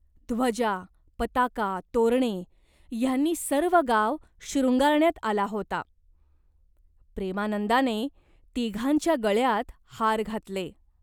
ध्वजा, पताका, तोरणे ह्यांनी सर्व गाव शृंगारण्यात आला होता. प्रेमानंदाने तिघांच्या गळ्यांत हार घातले.